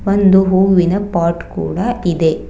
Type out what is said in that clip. ಒಂದು ಹೂವಿನ ಪಾಟ್ ಕೂಡ ಇದೆ.